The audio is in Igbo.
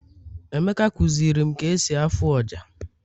emeka kuzirim ka esi afụ ọjà